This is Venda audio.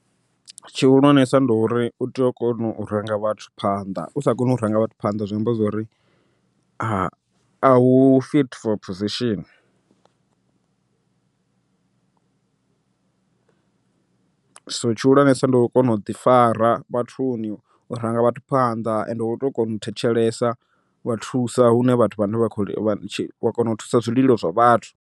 Tshihulwanesa ndi uri u tea u kona u ranga vhathu phanḓa, usa kona u ranga vhathu phanḓa zwi amba zwori a u fit for position. So tshihulwanesa ndo u kona u ḓi fara vhathuni, u ranga vhathu phanḓa ende wo to kona u thetshelesa, u vhathusa hune vhathu vhane vha kho wa kona u thusa zwililo zwa vhathu.